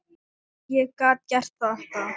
Ég gat gert þetta.